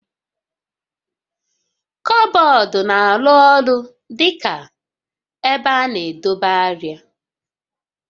Kọbọọdụ na-arụ ọrụ dị ka ebe a na-edobe arịa